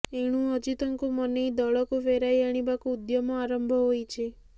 ଏଣୁ ଅଜିତଙ୍କୁ ମନେଇ ଦଳକୁ ଫେରାଇ ଆଣିବାକୁ ଉଦ୍ୟମ ଆରମ୍ଭ ହୋଇଛି